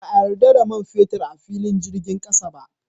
Ba a yarda da man fetur a filin jirgin sama